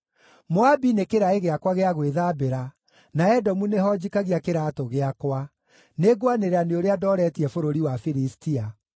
Moabi nĩ kĩraĩ gĩakwa gĩa gwĩthambĩra, na Edomu nĩho njikagia kĩraatũ gĩakwa; nĩngwanĩrĩra nĩ ũrĩa ndooretie bũrũri wa Filistia.”